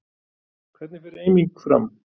Hvernig fer eiming fram?